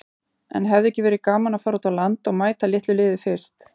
En hefði ekki verið gaman að fara út á land og mæta litlu liði fyrst?